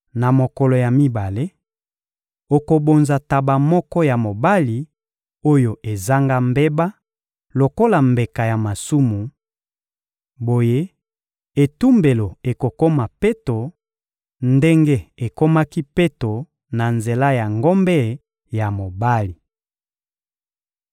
Na mokolo ya mibale, okobonza ntaba moko ya mobali oyo ezanga mbeba lokola mbeka ya masumu; boye, etumbelo ekokoma peto ndenge ekomaki peto na nzela ya ngombe ya mobali.